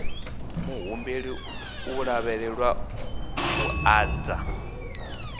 muhumbeli u lavhelelwa u ḓadza